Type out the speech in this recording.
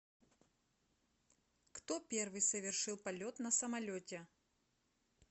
кто первый совершил полет на самолете